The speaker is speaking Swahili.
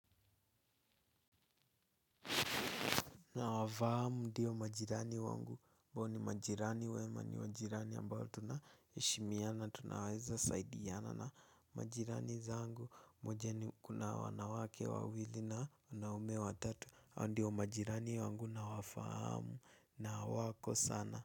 Nawafahamu ndiyo majirani wangu hao ni majirani wema ni majirani ambao tunaheshimiana tunawaweza saidiana na majirani zangu moja ni kuna wanawake wawili na wanaume watatu hawa ndiyo majirani wangu nawafahamu na wako sana.